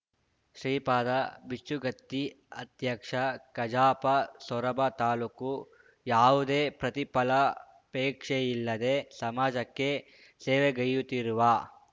ಶ್ರೀಪಾದ ಬಿಚ್ಚುಗತ್ತಿ ಅಧ್ಯಕ್ಷ ಕಜಾಪ ಸೊರಬ ತಾಲೂಕು ಯಾವುದೇ ಪ್ರತಿಫಲಾಪೇಕ್ಷೆಯಿಲ್ಲದೆ ಸಮಾಜಕ್ಕೆ ಸೇವೆಗೈಯುತ್ತಿರುವ